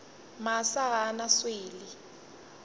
masa ga a na swele